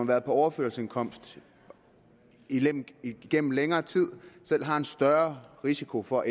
været på overførselsindkomst igennem igennem længere tid selv har en større risiko for